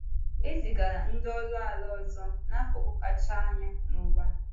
E zigara ndị ọrụ ala ọzọ “n’akụkụ kacha anya n’ụwa.”